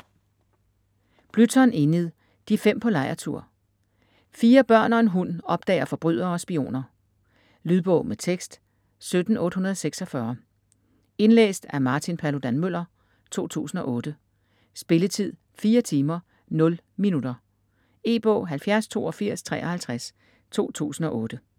Blyton, Enid: De fem på lejrtur Fire børn og en hund opdager forbrydere og spioner. Lydbog med tekst 17846 Indlæst af Martin Paludan-Müller, 2008. Spilletid: 4 timer, 0 minutter. E-bog 708253 2008.